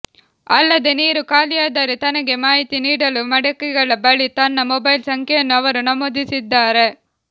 ಅಲ್ಲದೆ ನೀರು ಖಾಲಿಯಾದರೆ ತನಗೆ ಮಾಹಿತಿ ನೀಡಲು ಮಡಕೆಗಳ ಬಳಿ ತನ್ನ ಮೊಬೈಲ್ ಸಂಖ್ಯೆಯನ್ನೂ ಅವರು ನಮೂದಿಸಿದ್ದಾರೆ